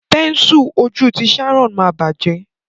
Pẹ́nsù ojú tí Sharon ma bajẹ.